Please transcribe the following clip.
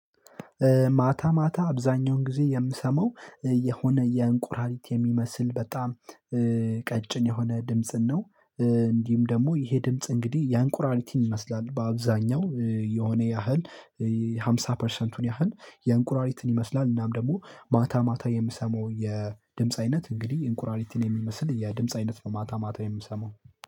ማታ ማታ አብዛኛውን ጊዜ የምሰማው የሆነ የእንቁራሪት የሚመስል በጣም ቀጭን የሆነ ድምጽን ነው። እንዲሁም ደግሞ ይሄ ድምጽ እንግዲህ ያእንቁራሪትን ይመስላል በአብዛኛው የሆነ ያህል ሃምሳ ፐርሰንቱን ያህል የእንቁራሪትን ይመስላል። እናም ደግሞ ማታ ማታ የምሰማው የድምጽ አይነት እንግዲህ እንቁራሪትን የሚመስል የድምጽ አይነት ነው ማታ ማታ የምሰማው